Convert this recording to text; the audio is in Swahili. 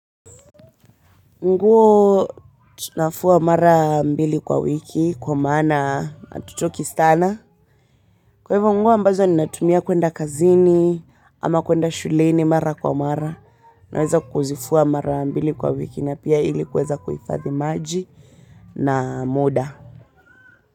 Nguo nafua mara mbili kwa wiki kwa maana hatuchoki sana kwa hivyo nguo ambazo ninatumia kuenda kazini ama kuenda shuleni mara kwa mara naweza kuzifua mara mbili kwa wiki na pia ili kuweza kuhifadhi maji na muda.